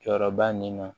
Jɔyɔrɔba nin na